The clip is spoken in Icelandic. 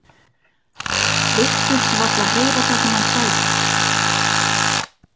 Virtist varla heyra það sem hann sagði.